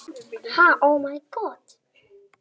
Aðalsteinunn, hvernig er veðrið á morgun?